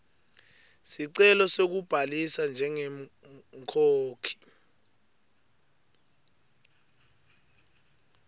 sicelo sekubhalisa njengemkhokhi